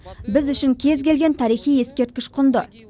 біз үшін кез келген тарихи ескерткіш құнды